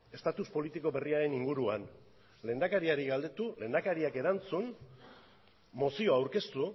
estatus politiko berriaren inguruan lehendakariari galdetu lehendakariak erantzun mozioa aurkeztu